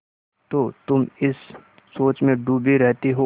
तो तुम इस सोच में डूबे रहते हो